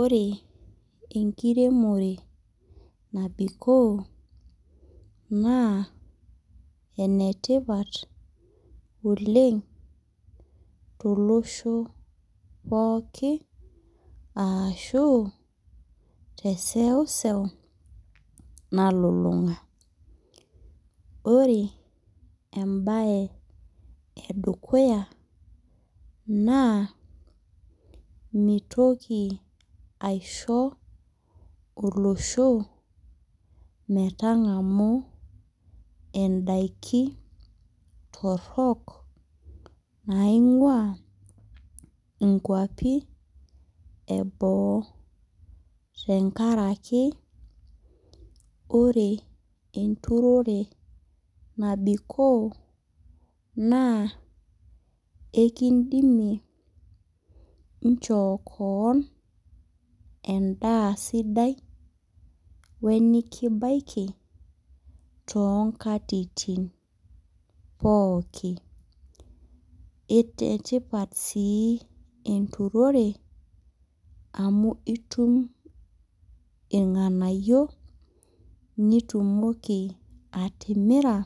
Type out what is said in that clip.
Ore enkiremore nabikoo naa enetipat oleng tolosho pooki, ashu teseuseu nalulung'a. Ore ebae edukuya naa, mitoki aisho olosho metang'amu edaiki torrok naing'ua inkwapi eboo. Tenkaraki, ore enturore nabikoo naa ekidimie inchoo koon sidai, wenikibaiki, tonkatitin pooki. Enetipat si enturore, amu itum irng'anayio nitumoki atimira,